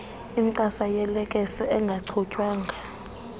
incasa yelekesi engachutywanga